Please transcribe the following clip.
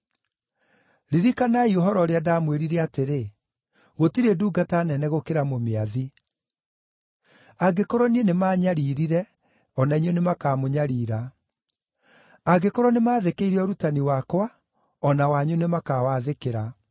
Ririkanai ũhoro ũrĩa ndamwĩrire atĩrĩ, ‘Gũtirĩ ndungata nene gũkĩra mũmĩathi.’ Angĩkorwo niĩ nĩmanyariirire, o na inyuĩ nĩmakamũnyarira. Angĩkorwo nĩmathĩkĩire ũrutani wakwa o na wanyu nĩmakawathĩkĩra.